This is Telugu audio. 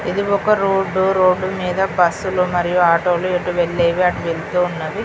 ఇది ఒక రోడు రోడీమీద బస్సులు మరియు ఆటోలు ఎటువెళ్లేవి అటువెళ్తున్నవి.